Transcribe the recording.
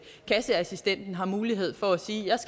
kasseassistenten har mulighed for at sige